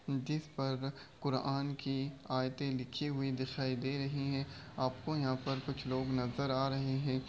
जिस पर कुरआन की आयतें लिखी हुई दिखाई दे रही हैं। आपको यहाँ पर कुछ लोग नजर आ रहे हैं।